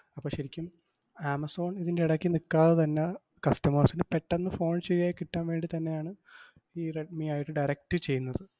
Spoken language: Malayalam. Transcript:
അപ്പം ശരിക്കും ആമസോൺ ഇതിൻറെ എടയ്ക്ക് നിക്കാതെ തന്നെ customers ന് പെട്ടന്ന് phone ശരിയായി കിട്ടാൻ വേണ്ടിത്തന്നെയാണ് ഈ റെഡ്‌മി ആയിട്ട് direct ചെയ്യുന്നത്.